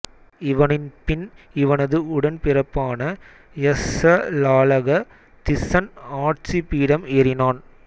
இவனின் பின் இவனது உடன்பிறப்பான யஸ்ஸலாலக திஸ்ஸன் ஆட்சிபீடம் ஏறினான்